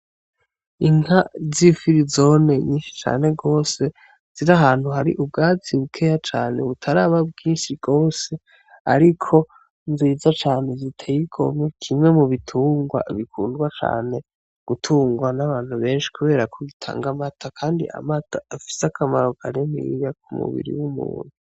Inka z'ifirizone nyinshi cane gose ziri ahantu hari ubwatsi bukeya cane butaraba bwinshi gose, ariko nziza cane ziteye igomwe, kimwe mu bitungwa bikundwa cane gutungwa n'abantu benshi kubera ko gitanga amata, kandi amata afise akamaro kaniniya ku mubiri w'umuntu.